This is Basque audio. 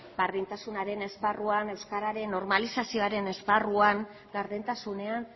berdintasunaren esparruan euskeraren normalizazioaren esparruan gardentasunean